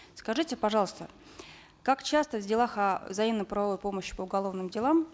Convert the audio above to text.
скажите пожалуйста как часто в делах о взаимной правовой помощи по уголовным делам